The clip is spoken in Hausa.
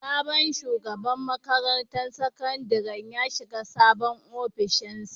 Sabon shugaban makarantar sakandaren ya shiga sabon ofishinsa.